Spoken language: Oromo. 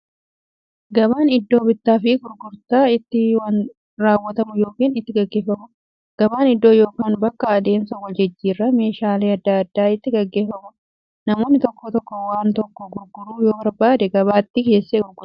Gabaan iddoo bittaaf gurgurtaan itti raawwatu yookiin itti gaggeeffamuudha. Gabaan iddoo yookiin bakka adeemsa waljijjiiraan meeshaalee adda addaa itti gaggeeffamuudha. Namni tokko waan tokko gurguruu yoo barbaade, gabaatti geessee gurgurata.